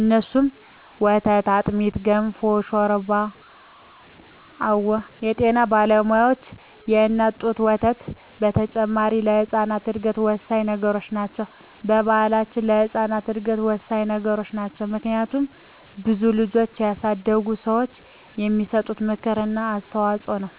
እነሱም፦ ወተት፣ አጥሚት፣ ገንፎ፣ ሾርባ አወ የጤና ባለሙያዋች የእናት ጡት ወተት በተጨማሪ ለህጻናት እድገት ወሳኚ ነገሮች ናቸው። በባሕላችንም ለህጻናት እድገት ወሳኚ ነገሮች ናቸው። ምክንያቱም ብዙ ልጆችን ያሳደጉ ሰዋች የሚሰጡት ምክር እና አስተዋጾ ነው።